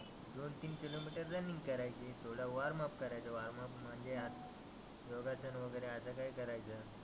दोन तीन kilometre running करायची. थोडा वार्माअप करायचा. म्हणजे योगासन वगैरे असं काही करायचं.